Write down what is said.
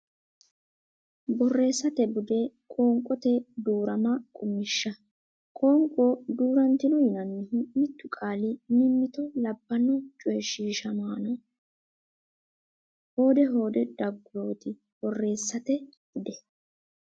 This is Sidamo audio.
Borreessate Bude Qoonqote Duu rama Qummishsha Qoonqo duu rantino yinannihu mittu qaali mimmito labbanno coy ishiishamaano hoode hoodete daggurooti Borreessate Bude.